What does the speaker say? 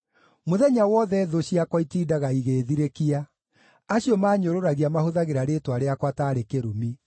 Mũthenya wothe thũ ciakwa itindaga igĩĩthirĩkia; acio maanyũrũragia mahũthagĩra rĩĩtwa rĩakwa taarĩ kĩrumi.